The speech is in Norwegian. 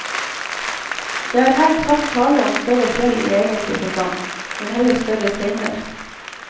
Det er her knapt tale om større fjell i egentlig forstand, men heller større steiner.